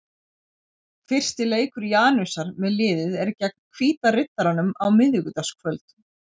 Fyrsti leikur Janusar með liðið er gegn Hvíta Riddaranum á miðvikudagskvöld.